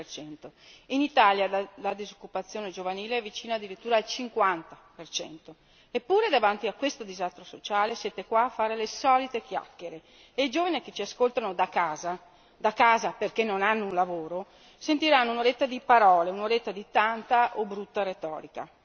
25. In Italia la disoccupazione giovanile è vicina addirittura al 50. Eppure, davanti a questo disastro sociale, siete qua a fare le solite chiacchiere e i giovani che ci ascoltano da casa, da casa perché non hanno un lavoro, sentiranno un'oretta di parole, un'oretta di stanca o brutta retorica.